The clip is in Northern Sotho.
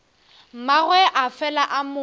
mmagwe a fela a mo